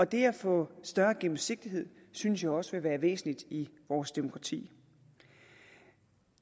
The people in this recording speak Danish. det at få større gennemsigtighed synes jeg også vil være væsentligt i vores demokrati